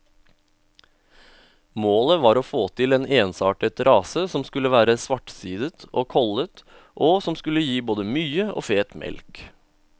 Målet var å få til en ensartet rase som skulle være svartsidet og kollet, og som skulle gi både mye og feit mjølk.